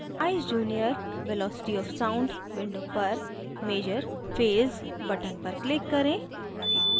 eyes junior: velocity of sound window पर measure phase button पर click करें